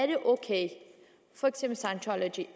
det er ok